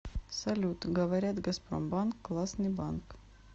салют говорят газпромбанк классный банк